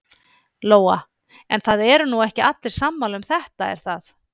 Lóa: En það eru nú ekki allir sammála um þetta er það?